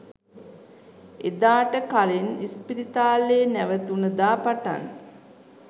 එදාට කලින් ඉස්පිරිතාලේ නැවතුන දා පටන්